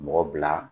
Mɔgɔ bila